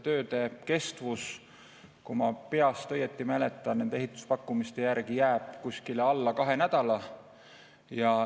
Tööde kestus, kui ma peast õigesti mäletan, jääb ehituspakkumiste järgi veidi alla kahe nädala.